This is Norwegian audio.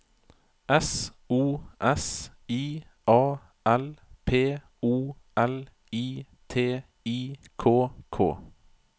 S O S I A L P O L I T I K K